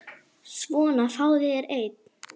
Svona, fáðu þér einn.